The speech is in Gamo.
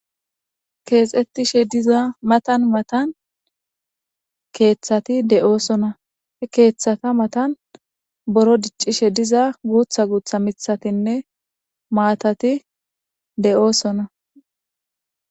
keexxettishe diza matan matan keeththati de7oosona he keeththata matan boro diccishe diza guutha guutha mithatinne maatati de7oosona